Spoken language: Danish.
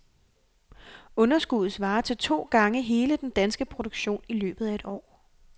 Underskuddet svarer til to gange hele den danske produktion i løbet af et år.